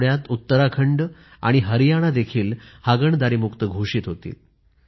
या आठवड्यात उत्तराखंड आणि हरियाणा देखील हागणदारीमुक्त घोषित होतील